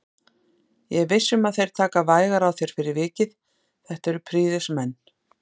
Ég er viss um að þeir taka vægar á þér fyrir vikið, þetta eru prýðismenn